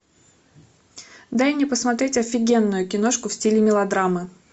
дай мне посмотреть офигенную киношку в стиле мелодрамы